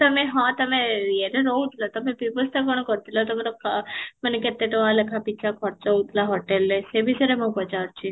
ତମେ ହଁ, ତମେ ଇଏ ରେ ରହୁଥିଲ ତମେ ବ୍ୟବସ୍ତା କ'ଣ କରିଥିଲ ତମର ମାନେ କେତେ ଟଙ୍କା ଲେଖା ପିଛା ଖର୍ଚ୍ଚ ହଉଥିଲା ହୋଟେଲରେ ସେ ବିଷୟରେ ମୁଁ ପଚାରୁଛି?